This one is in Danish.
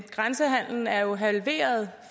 grænsehandelen er jo halveret